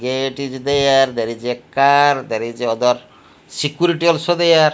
gate is there there is a car there is a other security also there.